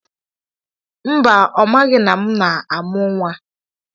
Mba, ọ maghị na m na-amụ nwa.